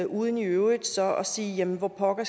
uden i øvrigt så at sige hvor pokker